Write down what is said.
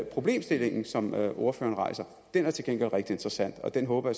problemstillingen som ordføreren rejser er rigtig interessant og det håber